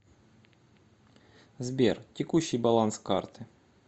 сбер текущий баланс карты